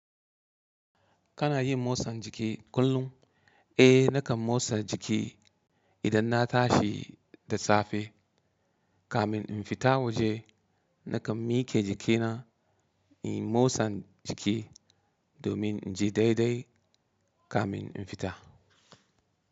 Kana yin motsan jiki kullum? Eh nakan motsa jiki idan na tashi da safe kamin in fita waje. Nakan mike jikina in yi motsan jiki domin in ji daidai kamin in fita.